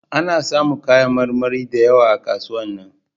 A na samu kayan marmari da yawa a kasuwan nan